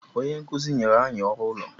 Onye nkuzi enyere anyị ọrụ ụlọ?